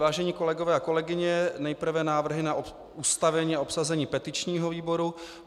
Vážení kolegové a kolegyně, nejprve návrhy na ustavení a obsazení petičního výboru.